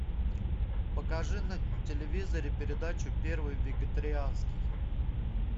покажи на телевизоре передачу первый вегетарианский